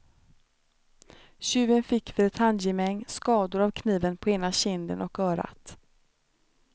Tjuven fick vid ett handgemäng skador av kniven på ena kinden och örat.